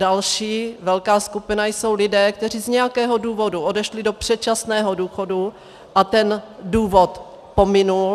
Další velká skupina jsou lidé, kteří z nějakého důvodu odešli do předčasného důchodu, a ten důvod pominul.